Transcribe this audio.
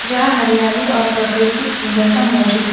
यहां हरियाली और प्राकृतिक सुंदरता मौजूद है।